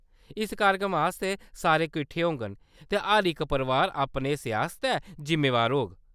इस कार्यक्रम आस्तै सारे कट्ठे होङन, ते हर इक परोआर अपने हिस्से आस्तै जिम्मेवार होग।